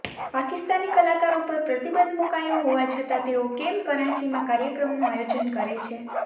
પાકિસ્તાની કલાકારો પર પ્રતિબંધ મૂકાયો હોવા છતાં તેઓ કેમ કરાંચીમાં કાર્યક્રમનું આયોજન કરે છે